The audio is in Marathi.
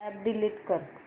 अॅप डिलीट कर